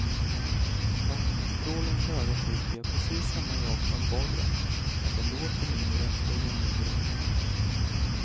Vattenstrålens höga tryck gör precis samma jobb som borren men det låter mindre och gör mindre ont.